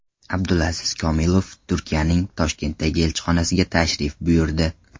Abdulaziz Komilov Turkiyaning Toshkentdagi elchixonasiga tashrif buyurdi.